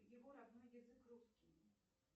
его родной язык русский